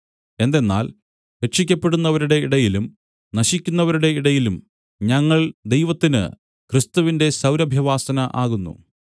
എന്തെന്നാൽ രക്ഷിയ്ക്കപ്പെടുന്നവരുടെ ഇടയിലും നശിക്കുന്നവരുടെ ഇടയിലും ഞങ്ങൾ ദൈവത്തിന് ക്രിസ്തുവിന്റെ സൗരഭ്യവാസന ആകുന്നു